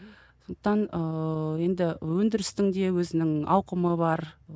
сондықтан ыыы енді өндірістің де өзінің аукымы бар